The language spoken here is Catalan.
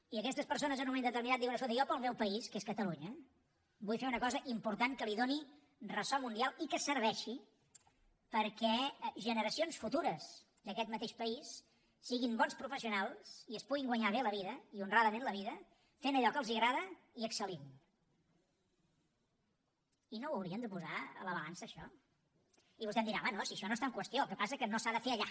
i aquestes persones en un moment determinat diuen escolta jo pel meu país que és catalunya vull fer una cosa important que li doni ressò mundial i que serveixi perquè generacions futures d’aquest mateix país siguin bons professionals i es puguin guanyar bé la vida i honradament la vida fent allò que els agrada i excelno ho hauríem de posar a la balança això i vostè em dirà home no si això no està en qüestió el que passa que no s’ha de fer allà